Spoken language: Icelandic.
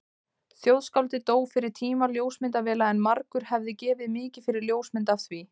Þjóðskáldið dó fyrir tíma ljósmyndavéla en margur hefði gefið mikið fyrir ljósmynd af því.